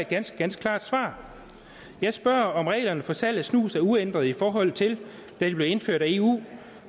ganske ganske klart svar jeg spørger om reglerne for salg af snus er uændret i forhold til da de blev indført af eu